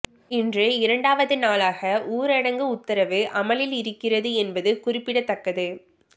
இன்று இரண்டாவது நாளாக ஊரடங்கு உத்தரவு அமலில் இருக்கிறது என்பது குறிப்பிடத்தக்கது